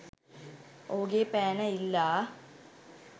ඔහුගේ පෑන ඉල්ලා